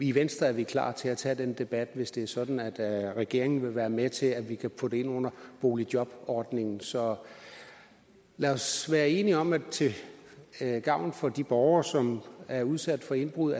i venstre er vi klar til at tage den debat hvis det er sådan at regeringen vil være med til at vi kan få det ind under boligjobordningen så lad os være enige om at vi til gavn for de borgere som er udsat for indbrud